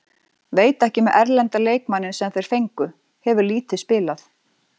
Veit ekki með erlenda leikmanninn sem þeir fengu, hefur lítið spilað.